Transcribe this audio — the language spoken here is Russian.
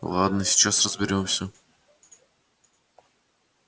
ладно сейчас разберёмся